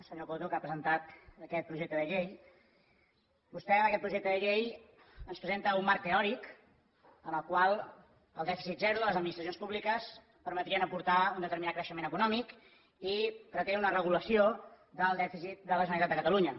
senyor coto que ha presentat aquest projecte de llei vostè amb aquest projecte de llei ens presenta un marc teòric en el qual el dèficit zero de les administracions públiques permetria aportar un determinat creixement econòmic i pretén una regulació del dèficit de la generalitat de catalunya